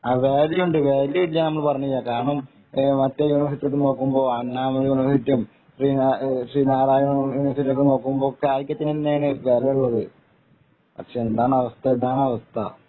വാല്യൂണ്ട് value ഇല്ല എന്ന് പറഞ്ഞില്ല കാരണം മറ്റേ യൂണിവേഴ്സിറ്റിയൊക്കെ നോക്കുമ്പോൾ അണ്ണാമലൈ യൂണിവേഴ്‌സിറ്റിയും ശ്രീനാരായണ യൂണിവേഴ്സിറ്റി ഒക്കെ നോക്കുമ്പോ കാലിക്കറ്റ് തന്നെയാണ് വാല്യൂ ഉള്ളത് പക്ഷെ എന്താണ് അവസ്ഥ ഇതാണ് അവസ്ഥ